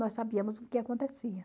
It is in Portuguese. Nós sabíamos o que acontecia.